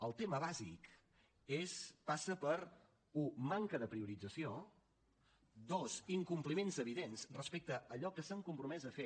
el tema bàsic passa per un manca de priorització dos incompliments evidents respecte a allò que s’han compromès a fer